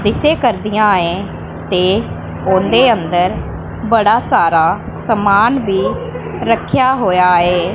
ਇਸੇ ਘਰ ਦੀਆਂ ਏਂ ਤੇ ਉਹਦੇ ਅੰਦਰ ਬੜਾ ਸਾਰਾ ਸਮਾਨ ਭੀ ਰੱਖਿਆ ਹੋਇਆ ਏ।